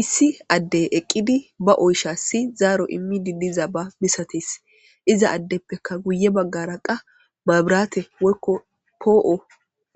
issi addey eqqidi ba oysha si zaaro immidi diza ba misates iza addeppekka guye baggara qa maabiraate woykko poo7o